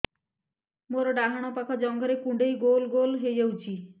ମୋର ଡାହାଣ ପାଖ ଜଙ୍ଘରେ କୁଣ୍ଡେଇ ଗୋଲ ଗୋଲ ହେଇଯାଉଛି